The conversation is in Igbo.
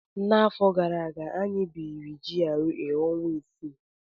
N'afọ gara aga, anyị biri na GRA ọnwa isii.